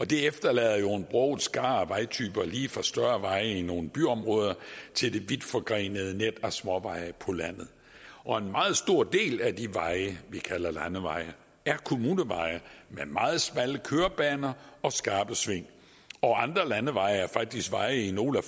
det efterlader jo en broget skare af vejtyper lige fra større veje i nogle byområder til det vidtforgrenede net af småveje på landet og en meget stor del af de veje vi kalder landeveje er kommuneveje med meget smalle kørebaner og skarpe sving andre landeveje er faktisk veje i nogle af